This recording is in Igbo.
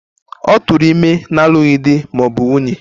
Ọ tụụrụ ime n'alụghị di ma ọ bụ nwunye.